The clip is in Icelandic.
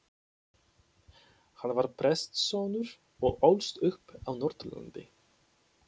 Hann var prestssonur og ólst upp á Norðurlandi.